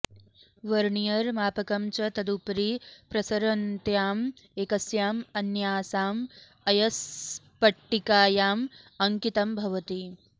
वर्नियरमापकं च तदुपरि प्रसरन्त्यां एकस्यां अन्यासां अयस्पट्टिकायाम् अङ्कितं भवति